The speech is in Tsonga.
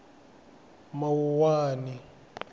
mawuwani